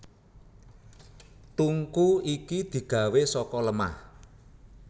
Tungku iki digawé saka lemah